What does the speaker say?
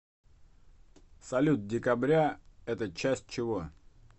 салют декабря это часть чего